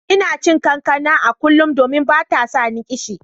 Ina cin kankana a kullum, domin bata sani kishi.